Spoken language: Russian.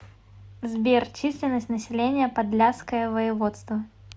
сбер численность населения подляское воеводство